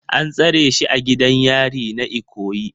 An tsare shi a gidan yari na Ikoyi